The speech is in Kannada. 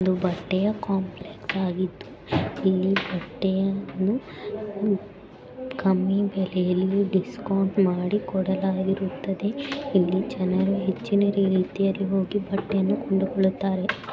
ಇದು ಬಟ್ಟೆಯ ಕಾಂಪ್ಲೆಕ್ಸ್ ಅಗ್ಗಿದು ಇಲ್ಲಿ ಬಟ್ಟೆಯನ್ನು ಕಮ್ಮಿ ಬೆಲೆಯಲ್ಲಿ ಡಿಸ್ಕೌಂಟ್ ಮಾಡಿ ಕೊಡಲಾಗಿರುತದೆ ಇಲ್ಲಿ ಜನರು ಹೆಚ್ಚಿನ ರೀತಿ ಆಲ್ಲಿ ಹೋಗಿ ಬಟ್ಟೆಯನ್ನು ಕೊಂಡುಕೊಳ್ಳುತಾರೆ.